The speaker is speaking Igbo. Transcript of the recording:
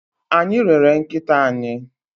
Anyị rere nkịta anyị.